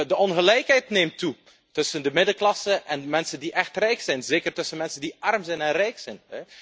De ongelijkheid neemt toe, tussen de middenklasse en de mensen die echt rijk zijn, en zeker tussen mensen die arm zijn en rijk zijn.